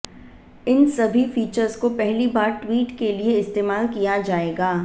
इन सभी फिचर्स को पहली बार ट्विट के लिए इस्तेमाल किया जाएगा